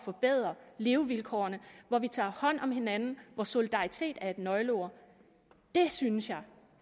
forbedre levevilkårene hvor vi tager hånd om hinanden hvor solidaritet er et nøgleord det synes jeg